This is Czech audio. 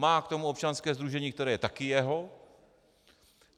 Má k tomu občanské sdružení, které je taky jeho.